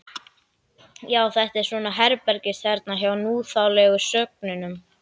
Já, þetta er svona herbergisþerna hjá núþálegu sögnunum.